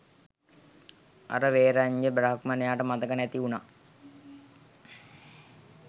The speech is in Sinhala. අර වේරඤ්ජ බ්‍රාහ්මණයාට මතක නැති වුනා